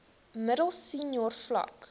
middel senior vlak